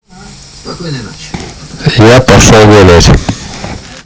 спокойной ночи я пошёл гулять